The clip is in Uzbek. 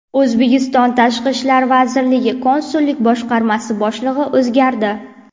O‘zbekiston Tashqi ishlar vazirligi Konsullik boshqarmasi boshlig‘i o‘zgardi.